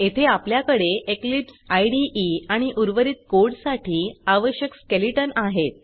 येथे आपल्याकडे Eclipse IDE आणि उर्वरित कोड साठी आवश्यक स्केलेटन आहेत